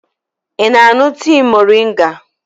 Ị na-aṅụ tii moringa?